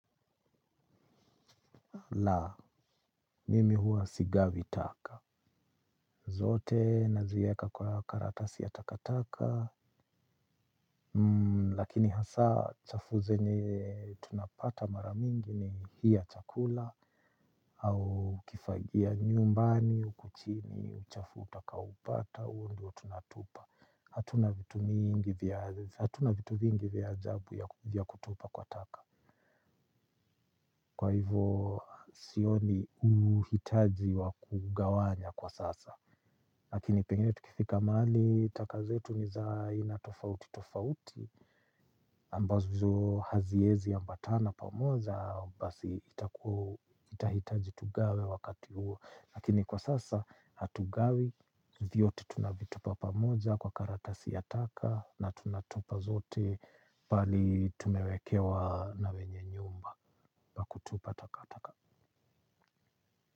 La, mimi huwa sigavi taka. Zote nazieka kwa karatasi ya takataka. Lakini hasaa chafu zenye tunapata mara mingi ni hii ya chakula. Au ukifagia nyumbani huko chini, uchafu utakaopata, huo ndio tunatupa. Hatuna vitu mingi vya ajabu ya kutupa kwa taka. Kwa hivo sioni uhitaji wa kugawanya kwa sasa. Lakini pengine tukifika mahali taka zetu ni za aina tofauti tofauti ambazo haziezi ambatana pamoja basi itakua itahitaji tugawe wakati huo, lakini kwa sasa hatugawi vyote tunavitupa pamoja kwa karatasi ya taka na tunatupa zote pahali tumewekewa na wenye nyumba pa kutupa takataka.